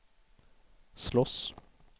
slåss